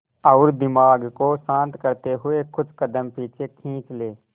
और दिमाग को शांत करते हुए कुछ कदम पीछे खींच लें